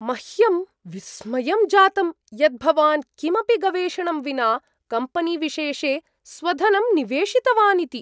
मह्यं विस्मयं जातम् यत् भवान् किमपि गवेषणं विना कम्पनीविशेषे स्वधनं निवेशितवान् इति।